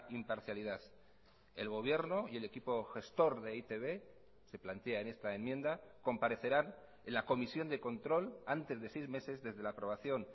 imparcialidad el gobierno y el equipo gestor de e i te be se plantea en esta enmienda comparecerán en la comisión de control antes de seis meses desde la aprobación